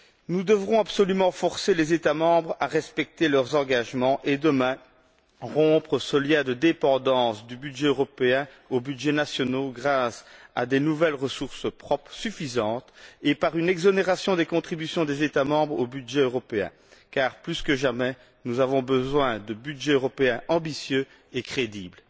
Nous devrons absolument forcer les États membres à respecter leurs engagements et, demain, rompre ce lien de dépendance du budget européen aux budgets nationaux grâce à de nouvelles ressources propres suffisantes et à une exonération des contributions des États membres au budget européen. Car, plus que jamais, nous avons besoin de budgets européens ambitieux et crédibles.